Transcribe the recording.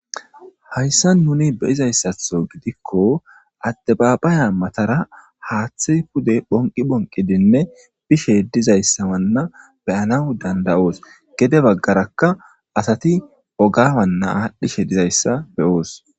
hayssa nuni beyizayssatho gidikko addabaabaya matara haaththe pude phonqi bonqidinne bishe dizayssa wanna beyana dandayoos gede baggarakka asati ogawanna aadhdhishe dizayssa beyoos